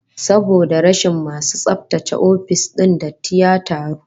Saboda rashin masu tsaftace ofis din, datti ya taru